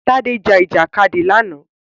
Tádé jà Ìjàkadì lánàá